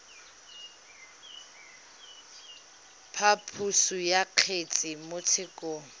phaposo ya kgetse mo tshekong